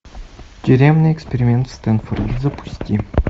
тюремный эксперимент в стэнфорде запусти